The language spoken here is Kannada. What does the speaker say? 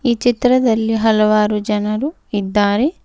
ಈ ಚಿತ್ರದಲ್ಲಿ ಹಲವಾರು ಜನರು ಇದ್ದಾರೆ.